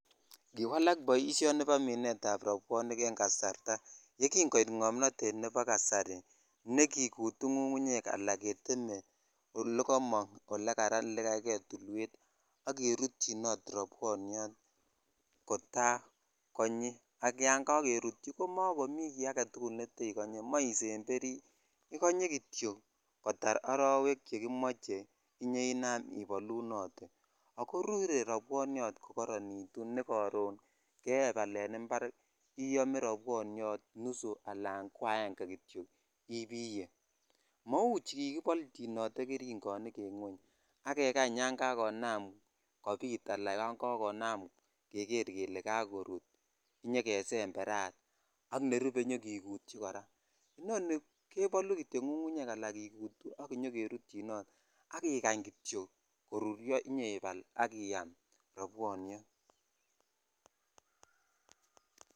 Kiwalak boisioni bo minet ab robwonik en kasarta ye kin koit komnotet notes nebo kasari ne kikutu ngungunyek ala keteme ole komok kikei tulwet ak kerutyinot robwonyot kotakonyi ak yan kakerutyi mokomi kit agetukul nekonyee mesenteric ikonye kityok kotar arowek chekimoch inyo inan ibalunotee ak koruree rabwonyot ko koronitu ne koron keebal en impar iyome nusu ala aenge kityok ibiyee mou chikikibolchin keringonik ak kekang yan jakonam kobit ala keker kele kakorut ak kesemberat ak nerubee konyo kikutyi koraa inoni keboluu kityok ngungunyek ala kikut ak inyo kerutyi kityok ak ikany kityok koruryo akibal iyam robwonyot.